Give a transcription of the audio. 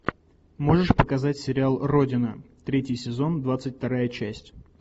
можешь показать сериал родина третий сезон двадцать вторая часть